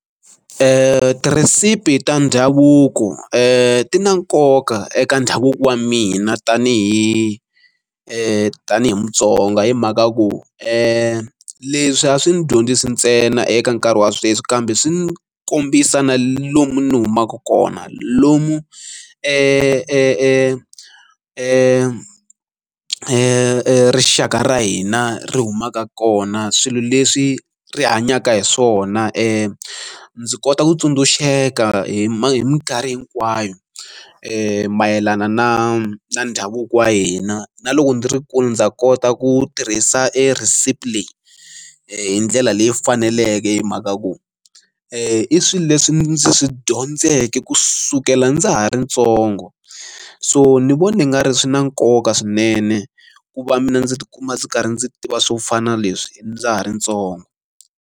Tirhesipi ta ndhavuko ti na nkoka eka ndhavuko wa mina tani hi tani hi Mutsonga hi mhaka ku leswi a swi ni dyondzise ntsena eka nkarhi wa sweswi kambe swi kombisa na lomu ni humaka kona, lomu rixaka ra hina ri humaka kona swilo leswi ri hanyaka hi swona. Ndzi kota ku tsundzuxeka hi minkarhi hinkwayo mayelana na ndhavuko wa hina. Na loko ndzi ri kule ndza kota ku tirhisa recipe leyi hi ndlela leyi faneleke hi mhaka ku i swilo leswi ndzi swi dyondzeke kusukela ndza ha ri ntsongo. So ni vona nga ri swi na nkoka swinene ku va mina ndzi tikuma ndzi karhi ndzi tiva swo fana na leswi ndza ha ri ntsongo.